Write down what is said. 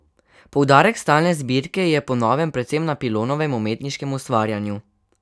Poudarek stalne zbirke je po novem predvsem na Pilonovem umetniškem ustvarjanju.